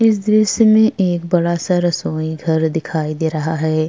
इस दृश्य में एक बड़ा-सा रसोई घर दिखाई दे रहा हैं।